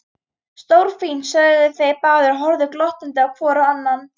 Stórfínt sögðu þeir báðir og horfðu glottandi hvor á annan.